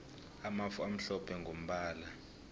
amafu amhlophe mgombala